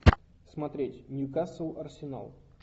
смотреть ньюкасл арсенал